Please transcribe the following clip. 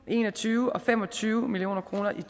og en og tyve og fem og tyve million kroner i